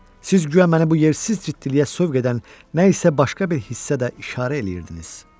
Siz guya məni bu yersiz ciddiliyə sövq edən nə isə başqa bir hissə də işarə eləyirdiniz.